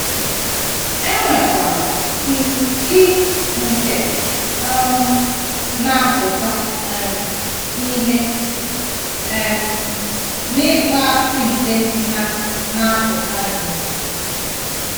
E nwekwara ịị nke um na - apụta um ìhè, um na ịkpọasị nke na - na apụta ìhè. ”